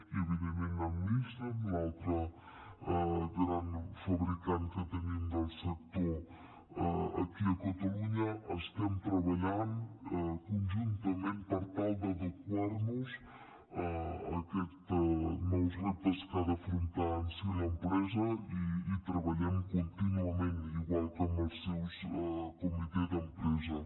i evidentment amb nissan l’altre gran fabricant que tenim del sector aquí a catalunya estem treballant conjuntament per tal d’adequar nos a aquests nous reptes que ha d’afrontar en si l’empresa i hi treballem contínuament igual que amb el seu comitè d’empresa